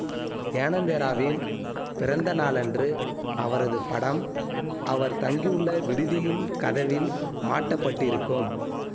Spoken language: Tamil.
ஞானேந்திராவின் பிறந்த நாளன்று அவரது படம் அவர் தங்கியுள்ள விடுதியின் கதவில் மாட்டப்பட்டிருக்கும்